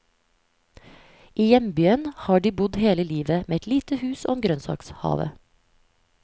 I hjembyen har de bodd hele livet, med et lite hus og en grønnsakhave.